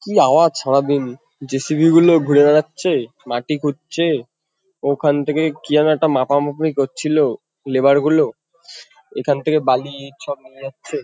কী আওয়াজ সারাদিন। জে.সি.বি. -গুলোও ঘুরে বেড়াচ্ছে মাটি খুঁড়ছে। ওখান থেকে কী যেন একটা মাপামাপি করছিলো লেবার -গুলো। এখান থেকে বালি ইট সব নিয়ে যাচ্ছে।